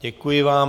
Děkuji vám.